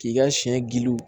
K'i ka siɲɛ giliw